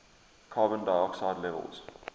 carbon dioxide levels